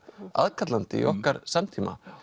aðkallandi í okkar samtíma